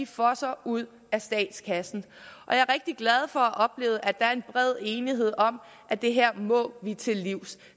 fosser ud af statskassen og jeg er rigtig glad for at have oplevet at der er bred enighed om at det her må vi til livs